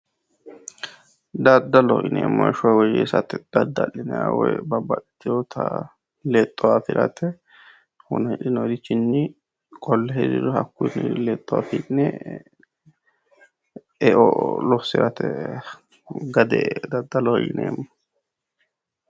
Daddaloho yineemmo heeshsho woyyeessate dadda'linayiiho woyi babbaxxiteyoota lexxo afirate wona hidhinoyeerichinni qolle hirriro hakkuyi lexxo afi'ne e"o lossirate gade daddaloho yineemmo